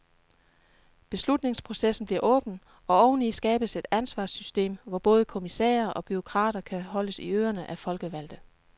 Beslutningsprocessen bliver åben, og oveni skabes et ansvarssystem, hvor både kommissærer og bureaukrater kan holdes i ørene af folkevalgte.